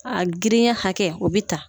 A girinya hakɛ o bɛ ta